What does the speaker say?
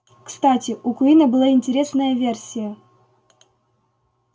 кстати у куинна была интересная версия